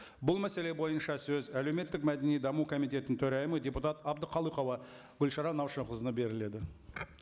бұл мәселе бойынша сөз әлеуметтік мәдени даму комитетінің төрайымы депутат әбдіқалықова гүлшара наушақызына беріледі